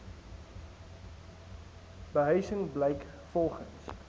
behuising blyk volgens